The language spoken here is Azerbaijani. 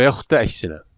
Və yaxud da əksinə.